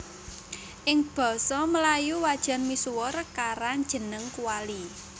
Ing basa melayu wajan misuwur karan jeneng kuali